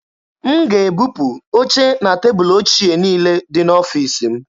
M ga-ebupu oche na tebụlụ ochie niile dị n'ọfiisi m.